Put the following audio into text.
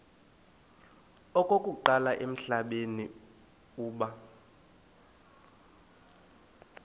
okokuqala emhlabeni uba